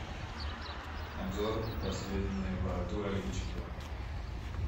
обзор последнего тура лиги чемпионов